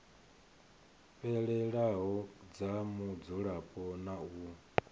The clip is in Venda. fhelelaho dza mudzulapo na u